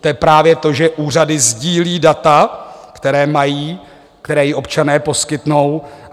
To je právě to, že úřady sdílí data, která mají, která jim občané poskytnou.